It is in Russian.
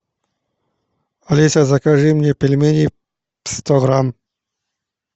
алиса закажи мне пельмени сто грамм